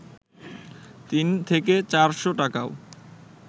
তিন থেকে চারশ টাকাও